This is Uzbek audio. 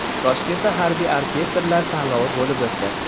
Toshkentda harbiy orkestrlar tanlovi bo‘lib o‘tdi.